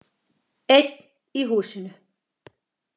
Einn í húsinu.